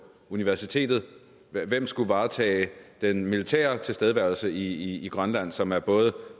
universitetet hvem skulle varetage den militære tilstedeværelse i grønland som er både